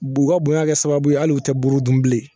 B'u ka bonya kɛ sababu ye hali u tɛ buuru dun bilen